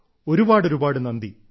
ഒരുപാട് ഒരുപാട് നന്ദി